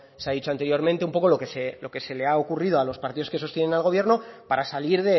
se ha dicho anteriormente un poco lo que se le ha ocurrido a los partidos que sostienen el gobierno para salir